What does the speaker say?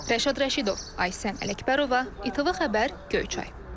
Rəşad Rəşidov, Aysən Ələkbərova, İTV Xəbər, Göyçay.